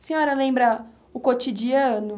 A senhora lembra o cotidiano?